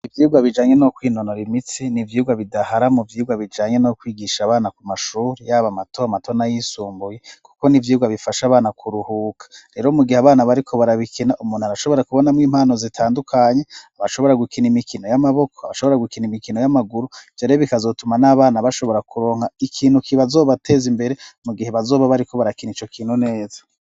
Ivyurwa bijanye no kwinonora imitsi n'ivyurwa bidahara mu vyirwa bijanye no kwigisha abana ku mashuri y'abo amato amatona y'isumbuyi, kuko n'ivyurwa bifasha abana ku ruhuka rero mu gihe abana bariko barabikina umuntu arashobora kubonamwo impano zitandukanye abashobora gukina imikino y'amaboko abashobora gukina imikino y'amaguru jere bikazotuma n'abana bashobora kuronka ikinu ki bazoba bateze imbere mu gihe bazoba bariko barakina ico kino neza.